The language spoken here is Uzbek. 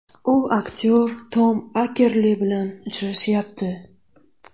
U aktyor Tom Akerli bilan uchrashyapti.